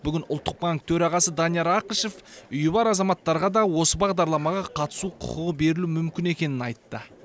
бүгін ұлттық банк төрағасы данияр ақышев үйі бар азаматтарға да осы бағдарламаға қатысу құқығы берілуі мүмкін екенін айтты